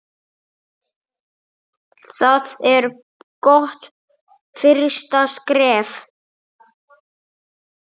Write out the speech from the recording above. Það er gott fyrsta skref.